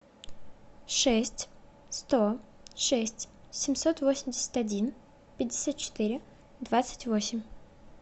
шесть сто шесть семьсот восемьдесят один пятьдесят четыре двадцать восемь